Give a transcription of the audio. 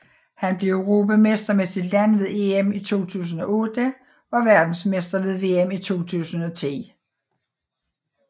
Han blev europamester med sit land ved EM 2008 og verdensmester ved VM i 2010